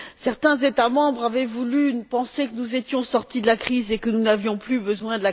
Certains États membres avaient voulu penser que nous étions sortis de la crise et que nous n'en avions plus besoin.